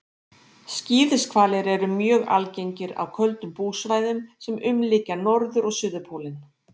Skíðishvalir eru mjög algengir á köldum búsvæðum sem umlykja norður- og suðurpólinn.